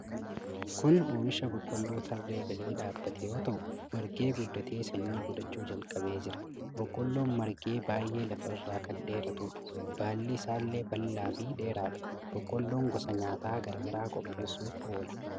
Kuni oomisha boqqolloo tarree galee dhaabate yoo ta'u, margee guddatee sanyii godhachuu jalqabee jira. Boqqolloon margee baay'ee lafa irraa kan dheeratudha. Baalli isaallee bal'aa fi dheeraadha. Boqolloon gosa nyaata garaa garaa qopheessuf oola.